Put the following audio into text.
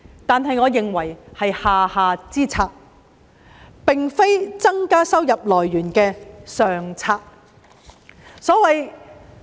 但是，我認為這是下下之策，並非增加收入來源的上策。